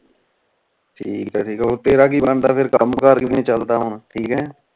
ਠੀਕ ਆ ਠੀਕ ਆ ਤੇਰਾ ਕਿ ਬੰਦਾ ਫੇਰ ਕਾਮ ਕਰ ਕਿਵੇਂ ਚਲਦਾ ਹੁਣ ਠੀਕ ਆ